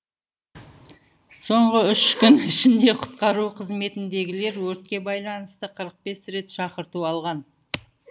соңғы үш күн ішінде құтқару қызметіндегілер өртке байланысты қырық бес рет шақырту алған